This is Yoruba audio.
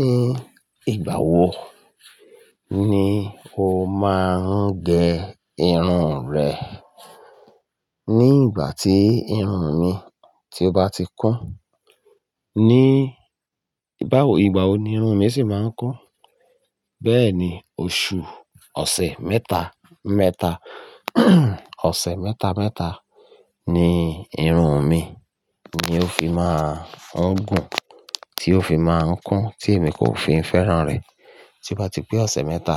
Ní ìgbà wo ni o máa ń gẹ irun rẹ? Ní ìgbà tí irun mi ti bá ti kún. Ní ìgbà wo, ìgbà wo ni irun mi sì má ń kún? Bẹ́ẹ̀ni, oṣù-- ọ̀sẹ̀ mẹ́ta mẹ́ta, ọ̀sẹ̀ mẹ́ta mẹ́ta ni irun mi ni ó fi máa ń gùn, tí ó fi máa ń kún tí èmi kò fi fẹ́ràn rẹ̀. Tí ó bá ti pé ọ̀sẹ̀ mẹ́ta,